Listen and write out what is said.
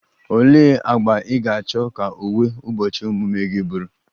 Olee agba ị ga-achọ ka uwe ụbọchị ọmụmụ gị bụrụ?